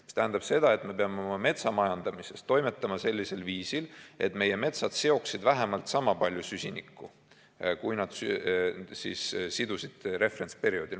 See tähendab seda, et me peame oma metsamajandamises toimetama sellisel viisil, et meie metsad seoksid vähemalt sama palju süsinikku, kui nad sidusid referentsperioodil.